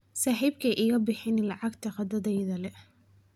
saaxiibkay iga bixin lacagta qadadayda le